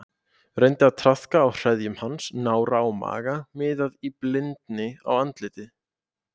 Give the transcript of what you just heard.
Reyndi að traðka á hreðjum hans, nára og maga, miðaði í blindni á andlitið.